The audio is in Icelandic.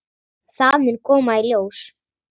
Það mun koma í ljós.